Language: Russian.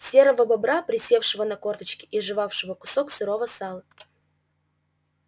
серого бобра присевшего на корточки и жевавшего кусок сырого сала